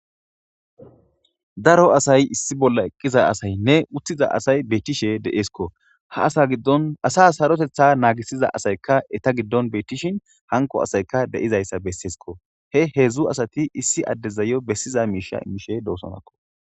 Daro asay issi bolla eqqiza asaynne uttiza asay beettishe de'eesko ha donasa hsarotetha naagisiza asaykka eta giddon beettishin hanko asayka de'izayssa besseesko he heedzdzu asati issi addezayo bessiza miisha immishe doosonakko.